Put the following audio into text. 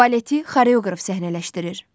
Baleti xoreoqraf səhnələşdirir.